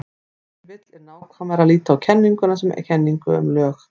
Ef til vill er nákvæmara að líta á kenninguna sem kenningu um lög.